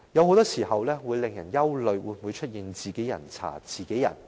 很多時候，令人憂慮當中會否出現"自己人查自己人"的情況。